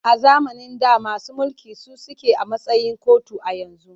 A zamanin da masu mulki su suke a matsayin kotu a yanzu.